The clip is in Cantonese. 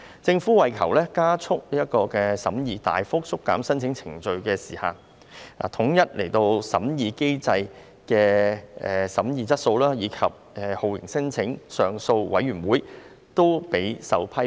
政府為求加速審議，大幅縮減申請程序的時限，統一審核機制的審議水平及酷刑聲請上訴委員會均備受批評。